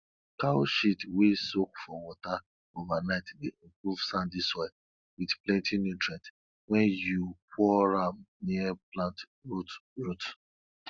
cow shit wey soak for water overnight dey improve sandy soil wit plenti nutrients wen yu pour am near plant roots roots